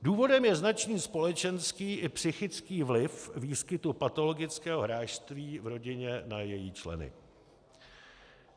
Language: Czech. Důvodem je značný společenský i psychický vliv výskytu patologického hráčství v rodině na její členy.